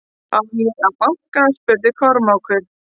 Á ég að banka spurði Kormákur.